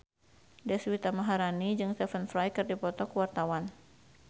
Deswita Maharani jeung Stephen Fry keur dipoto ku wartawan